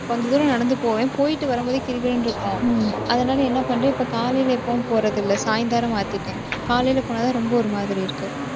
கொஞ்ச தூரம் நடந்து போவேன். போயிட்டு வரும்போதே, கிறு கிறுன்னு இருக்கும். அதனால, என்ன பண்றேன் இப்ப காலையில எப்பவும் போறதில்லை. சாயந்திரம் மாத்திட்டேன் காலையில போனாதான், ரொம்ப ஒரு மாதிரி இருக்கு.